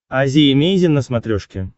азия эмейзин на смотрешке